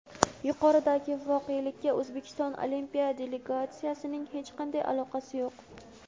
yuqoridagi voqelikka O‘zbekiston Olimpiya delegatsiyasining hech qanday aloqasi yo‘q.